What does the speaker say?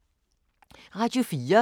Radio 4